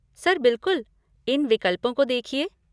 Sir बिलकुल, इन विकल्पों को देखिए।